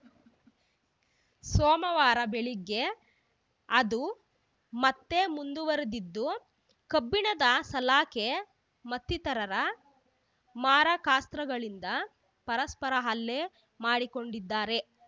ಸೋಮವಾರ ಬೆಳಗ್ಗೆ ಅದು ಮತ್ತೆ ಮುಂದುವರಿದಿದ್ದು ಕಬ್ಬಿಣದ ಸಲಾಕೆ ಮತ್ತಿತರರ ಮಾರಕಾಸ್ತ್ರಗಳಿಂದ ಪರಸ್ಪರ ಹಲ್ಲೆ ಮಾಡಿಕೊಂಡಿದ್ದಾರೆ